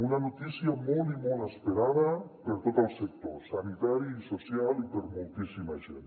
una notícia molt i molt esperada per tot el sector sanitari i social i per moltíssima gent